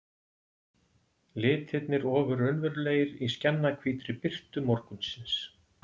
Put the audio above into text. Litirnir ofur raunverulegir í skjannahvítri birtu morgunsins.